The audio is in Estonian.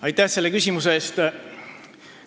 Aitäh selle küsimuse eest!